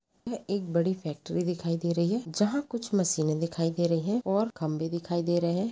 एक बड़ी फैक्ट्री दिखाई दे रही जहाँ कुछ मशीने दिखाई दे रहे है और खंभे दिखाई दे रहे है।